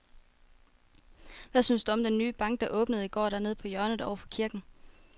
Hvad synes du om den nye bank, der åbnede i går dernede på hjørnet over for kirken?